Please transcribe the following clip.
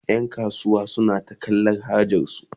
Yan kasuwa suna ta tallan hajarsu